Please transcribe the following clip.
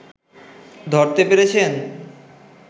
ধরতে পেরেছেন